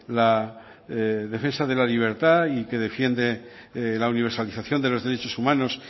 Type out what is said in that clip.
la defensa de la libertad y que defiende la universalización de los derechos humanos